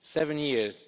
Seven years